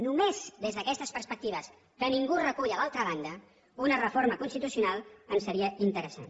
només des d’aquestes perspectives que ningú recull a l’altra banda una reforma constitucional ens seria interessant